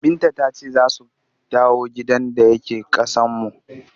Binta ta ce za su dawo gidan da yake ƙasanmu.